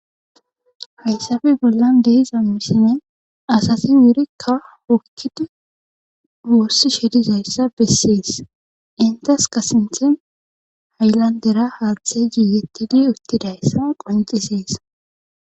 hayssafe bollan deeza misine asasi wurikka hukkidi wossi sherizayssa bessees intes ka sinthen haylandera haalthe giiyettidi uttidayssa qoncisees